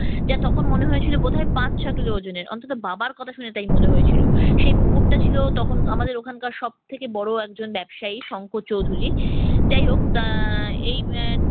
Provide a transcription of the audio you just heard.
যে তখন মনে হয়েছিল বোধহয় পাঁচ সাত কিলো ওজনের। অন্তত বাবার কথা শুনে তাই মনে হয়েছিল। সেই পুকুরটা ছিল তখন আমাদের ওখানকার সব থেকে বড় একজন ব্যবসায়ী শঙ্কর চৌধুরীর। যাই হোক আহ এই